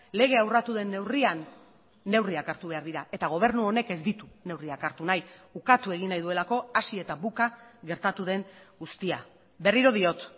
legea urratu den neurrian neurriak hartu behar dira eta gobernu honek ez ditu neurriak hartu nahi ukatu egin nahi duelako hasi eta buka gertatu den guztia berriro diot